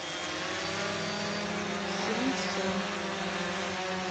пхенсон